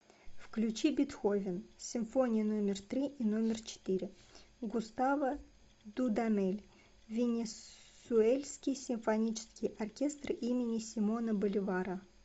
включи бетховен симфония номер три и номер четыре густаво дудамель венесуэльский симфонический оркестр имени симона боливара